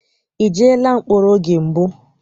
I jeela mkpọrọ oge mbụ?